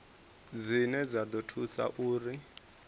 dzine dza ḓo thusa uri